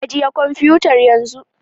Ajiye kwamfutar yanzu